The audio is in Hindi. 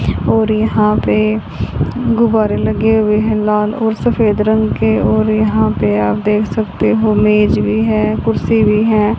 और यहां पे गुब्बारे लगे हुए हैं लाल और सफेद रंग के और यहां पे आप देख सकते हो मेज भी है कुर्सी भी है।